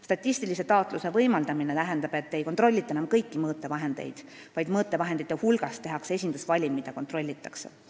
Statistilise taatluse võimaldamine tähendab, et ei kontrollita enam kõiki mõõtevahendeid, vaid mõõtevahendite hulgast tehakse esindusvalim, mida kontrollitakse.